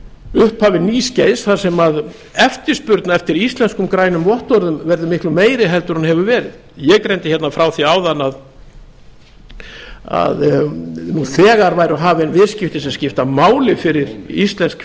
upphafi nýs skeiðs þar sem eftirspurn eftir íslenskum grænum vottorðum verður miklu meiri heldur en hún hefur verið ég greindi hérna frá því áðan að nú þegar væru hafin viðskipti sem skipta máli fyrir íslensk